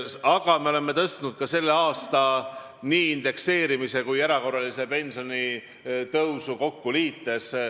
Aga me oleme pensioni tõstnud ka indekseerimisest tulenevat summat ja erakorralise pensionitõusu summat kokku liites.